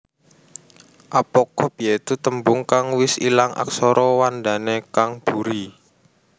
Apocope ya iku tembung kang wis ilang aksara wandané kang buri